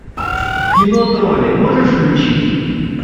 кино тролли можешь включить